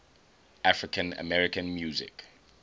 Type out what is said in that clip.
african american music